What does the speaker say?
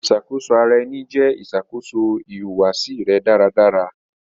Iṣakoso ara ẹni jẹ iṣakoso ihuwasi rẹ daradara.